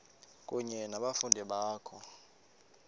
kunye nabafundi bakho